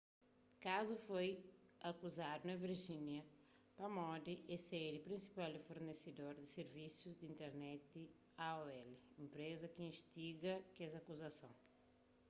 kazu foi akuzaduna virgínia pamodi é sedi di prinsipal fornesedor di sirvisus di internet aol enpreza ki instiga kes akuzason